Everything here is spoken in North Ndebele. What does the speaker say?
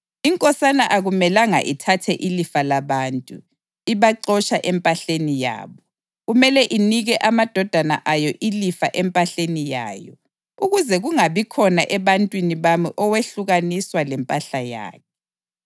Inkosana akumelanga ithathe ilifa labantu, ibaxotsha empahleni yabo. Kumele inike amadodana ayo ilifa empahleni yayo, ukuze kungabikhona ebantwini bami owehlukaniswa lempahla yakhe.’ ”